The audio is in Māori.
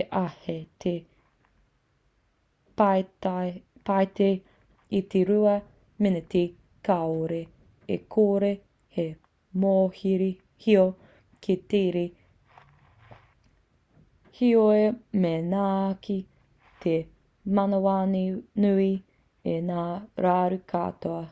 e āhei te pīti i te rua miniti kāore e kore he mōhio ki te tere heoi me ngaki te manawanui i ngā raru katoa